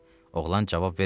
Oğlan cavab vermədi.